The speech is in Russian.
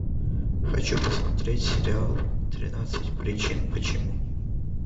хочу посмотреть сериал тринадцать причин почему